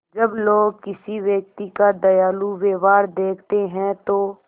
जब लोग किसी व्यक्ति का दयालु व्यवहार देखते हैं तो